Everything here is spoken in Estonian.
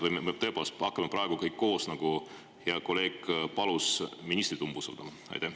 Või me tõepoolest hakkame praegu kõik koos, nagu hea kolleeg palus, ministrit umbusaldama?